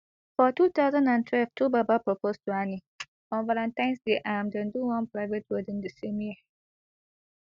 for two thousand and twelve twobaba propose to annie on valentines day and dem do one private wedding di same year